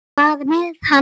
Hvað er með hann?